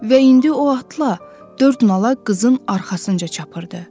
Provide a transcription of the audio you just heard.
Və indi o atla dörd nala qızın arxasınca çapırdı.